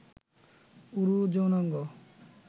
উরু, যৌনাঙ্গ